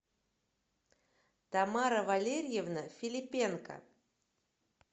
тамара валерьевна филипенко